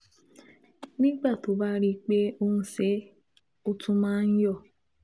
nígbà tó o bá rí i pé o ń ṣe é, ó tún máa ń yọ